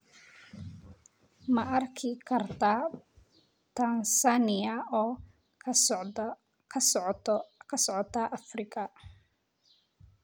Ma arki kartaa Tansaaniya oo ka socota Afrika?